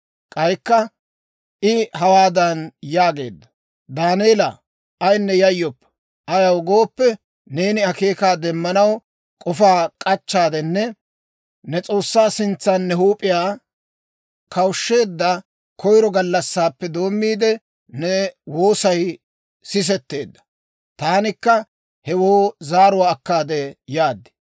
K'aykka I hawaadan yaageedda; «Daaneela, ayinne yayyoppa! Ayaw gooppe, neeni akeekaa demmanaw k'ofaa k'achcheeddanne ne S'oossaa sintsan ne huup'iyaa kawushsheedda koyiro gallassaappe doommiide, ne woosay sisetteedda; taanikka hewoo zaaruwaa akkaade yaad.